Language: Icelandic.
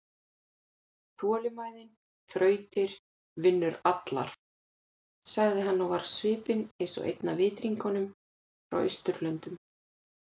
ÞOLINMÆÐIN ÞRAUTIR VINNUR ALLAR, sagði hann og var á svipinn eins og einn af Vitringunum-frá-Austurlöndum.